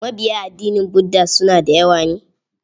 Mabiya addinin Budda suna da yawa ne?